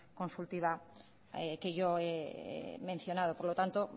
consultiva que yo he mencionado por lo tanto